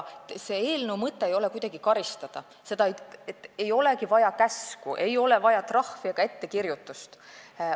Eelnõu mõte ei ole kuidagi karistada, ei ole vaja käsku, ei ole vaja trahvi ega ettekirjutust.